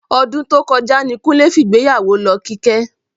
Ọdún tó kọjá ní Kúnlé fìgbéyàwó lọ Kíkẹ́